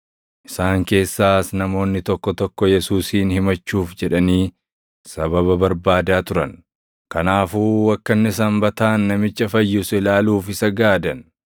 Isaan keessaas namoonni tokko tokko Yesuusin himachuuf jedhanii sababa barbaadaa turan; kanaafuu akka inni Sanbataan namicha fayyisu ilaaluuf isa gaadan.